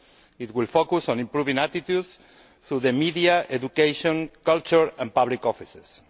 It will focus on improving attitudes through the media, education, culture and public offices.